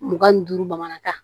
Mugan ni duuru bamanankan